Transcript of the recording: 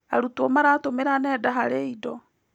Arutwo maratũmĩra nenda harĩ indo.